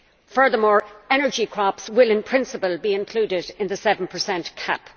Furthermore, energy crops will in principle be included in the 7 cap.